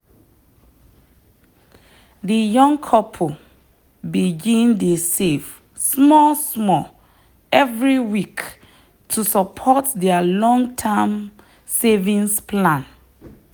the young couple begin dey save small-small every week to support their long-term savings plan.